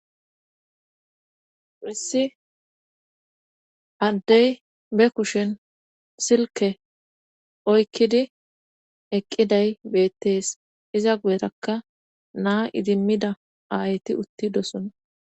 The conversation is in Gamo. issi addey be kushen silke oykkidi eqqiday beettees iza guyetakka naa idimmida aayti uttidosona